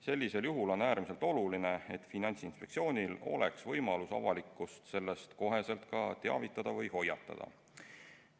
Sellisel juhul on äärmiselt oluline, et Finantsinspektsioonil oleks võimalus avalikkust sellest kohe teavitada või hoiatada.